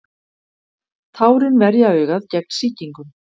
tárin verja augað gegn sýkingum